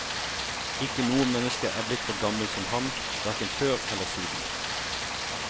Ikke noe menneske er blitt så gammel som ham, hverken før eller siden.